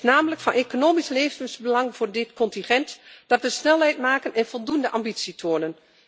Het is namelijk van economisch levensbelang voor dit continent dat we snelheid maken en voldoende ambitie tonen.